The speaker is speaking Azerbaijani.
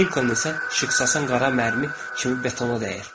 Nikon isə işıqsasan qara mərmi kimi betona dəyir.